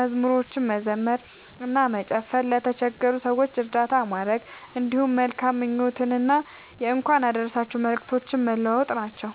መዝሙሮችን መዘመር እና መጨፈር፣ ለተቸገሩ ሰዎች እርዳታ ማድረግ፣ እንዲሁም መልካም ምኞቶችንና የእንኳን አደረሳችሁ መልእክቶችን መለዋወጥ ናቸዉ።